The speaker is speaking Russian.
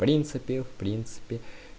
в принципе в принципе